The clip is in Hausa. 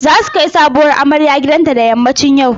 Za su kai sabuwar amarya gidanta da yammacin yau.